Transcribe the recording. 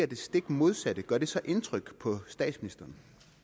det stik modsatte gør det så indtryk på statsministeren